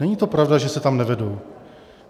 Není to pravda, že se tam nevedou.